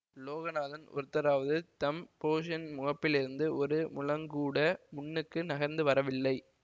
லோகநாதன் ஒருத்தராவது தம் போர்ஷன் முகப்பிலிருந்து ஒரு முழங்கூட முன்னுக்கு நகர்ந்து வரவில்லை